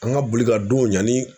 An ka boli ka don ɲani